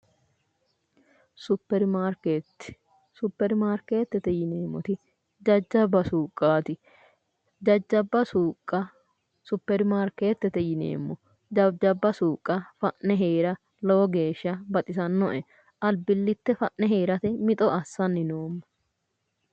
Supperimaarkeetti. Supperimaarkeettete yineemmoti jajjabba suuqqaati. Jajjabba suuqqa supperimaarkeettete yineemmo. Jajjabba suuqqa fa'ne heera lowo geeshsha baxisannoe. Albillitte fa'ne heerate mixo assanni noomma.